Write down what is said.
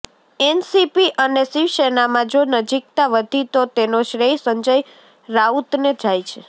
NCP અને શિવસેનામાં જો નજીકતા વધી તો તેનો શ્રેય સંજય રાઉતને જાય છે